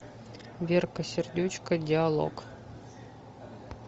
верка сердючка диалог